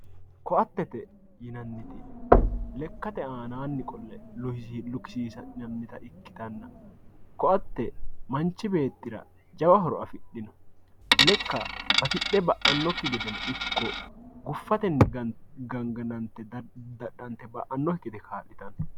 ko"attete yinanniti lekkate aanaanni qolle lukisiisi'nannita ikkitanna ko"atte manchi beettira jawa horo afidhino lekka batidhe ba'annokki gedeno ikko guffatenni ganganante daddadhante ba'annokki gede kaa'litanno.